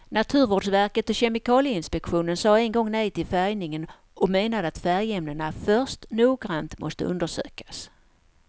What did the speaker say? Naturvårdsverket och kemikalieinspektionen sade en gång nej till färgningen och menade att färgämnena först noggrant måste undersökas.